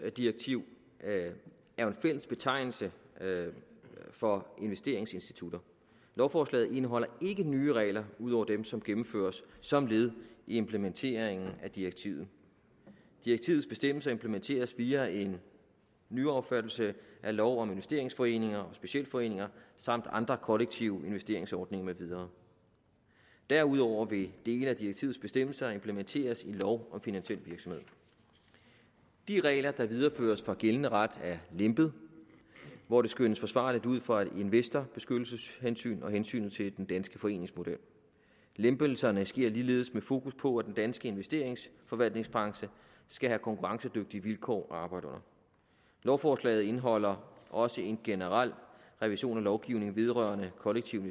direktiv er jo en fælles betegnelse for investeringsinstitutter lovforslaget indeholder ikke nye regler ud over dem som gennemføres som led i implementeringen af direktivet direktivets bestemmelser implementeres via en nyaffattelse af lov om investeringsforeninger og specialforeninger samt andre kollektive investeringsordninger med videre derudover vil dele af direktivets bestemmelser implementeres i lov om finansiel virksomhed de regler der videreføres fra gældende ret er lempet hvor det skønnes forsvarligt ud fra et investorbeskyttelseshensyn og hensynet til den danske foreningsmodel lempelserne sker ligeledes med fokus på at den danske investeringsforvaltningsbranche skal have konkurrencedygtige vilkår at arbejde under lovforslaget indeholder også en generel revision af lovgivningen vedrørende kollektive